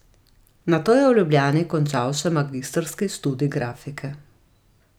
Nato je v Ljubljani končal še magistrski študij grafike.